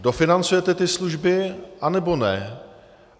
Dofinancujete ty služby, anebo ne?